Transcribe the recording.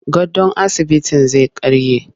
Gadon asibitin zai karye.